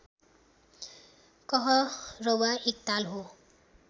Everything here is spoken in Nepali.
कहरवा एक ताल हो